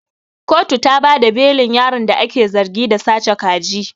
Kotu ta bada belin yaron da ake zargi da sace kaji.